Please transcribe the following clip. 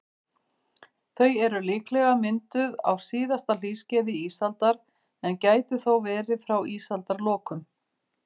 Þau eru líklega mynduð á síðasta hlýskeiði ísaldar, en gætu þó verið frá ísaldarlokum.